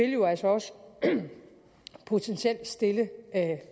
jo altså også potentielt vil stille